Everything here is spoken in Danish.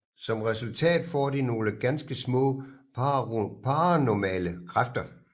Som resultat får de nogle ganske små paranormale kræfter